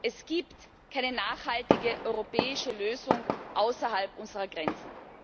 Es gibt keine nachhaltige europäische Lösung außerhalb unserer Grenzen.